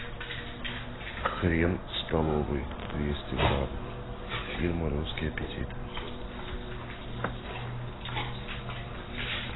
хрен столовый двести грамм фирма русский аппетит